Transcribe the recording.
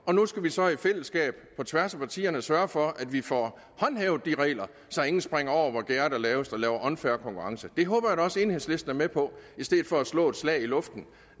og nu skal vi så i fællesskab på tværs af partierne sørge for at vi får håndhævet de regler så ingen springer over hvor gærdet er lavest og laver unfair konkurrence det håber jeg da også at enhedslisten er med på i stedet for at man slår et slag i luften